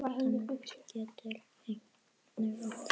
Jórdan getur einnig átt við